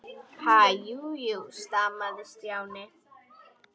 Ha- jú, jú stamaði Stjáni.